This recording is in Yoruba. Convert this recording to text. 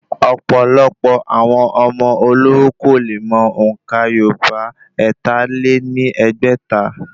Ọ̀pọ̀lọpọ̀ àwọn ọmọ olówó kò le mọ òǹkà yorùbá ẹ̀ta lé ní ẹgbẹ́ta